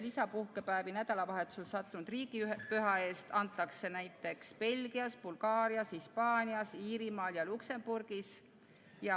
Lisapuhkepäevi nädalavahetusele sattunud riigipüha eest antakse näiteks Belgias, Bulgaarias, Hispaanias, Iirimaal ja Luksemburgis.